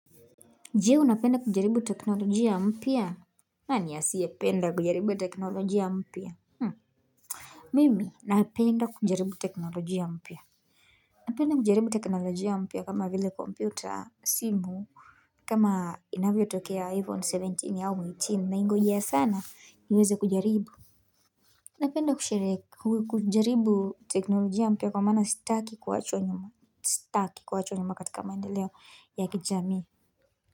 Je u napenda kujaribu teknolojia mpia nani asiye penda kujaribu teknolojia mpia Mimi napenda kujaribu teknolojia mpia Napenda kujaribu teknolojia mpia kama vile kompyuta simu kama inavyo tokea iphone seventeen au eighteen naingojea sana niweza kujaribu Napenda kujaribu teknolojia mpia kwa maana staki kuachwa nyuma staki kuachwa nyuma katika maendeleo ya kijamii.